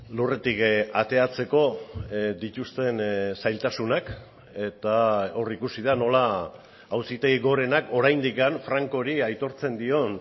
lurretik ateratzeko dituzten zailtasunak eta hor ikusi da nola auzitegi gorenak oraindik francori aitortzen dion